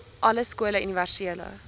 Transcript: alle skole universele